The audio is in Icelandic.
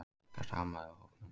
Ekkert amaði að hópnum